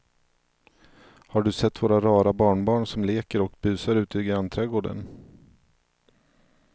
Har du sett våra rara barnbarn som leker och busar ute i grannträdgården!